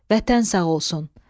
Vətən sağ olsun.